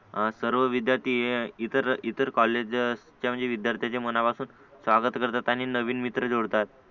सर्व विद्यार्थी इतर इतर कॉलेज असते विद्यार्थ्यांच्या मनापासून स्वागत करतात आणि नवीन मित्र जोडतात